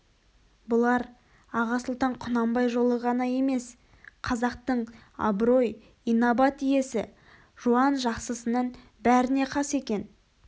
бұлар аға сұлтан құнанбай жолы ғана емес қазақтың абырой инабат иесі жуан-жақсысының бәріне қас екен